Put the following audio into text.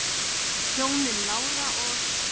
Hjónin Lára og